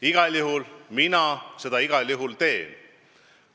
Igal juhul mina seda teen.